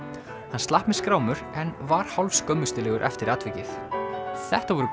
hann slapp með skrámur en var hálf skömmustulegur eftir atvikið þetta voru